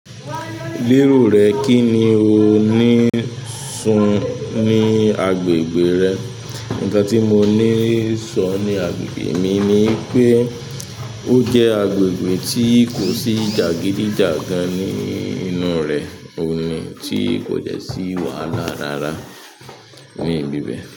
Lérò rẹ kí ni o ní sun ní agbègbè rẹ? Ìkan tí mo ní sọ ní agbègbè mi ni pé ó jẹ́ agbègbè tí kò sí jàgídíjàgan ní ìnu re ohunnj tí kò jẹ́ sí wà lára rárá ní ibi bẹ́ẹ̀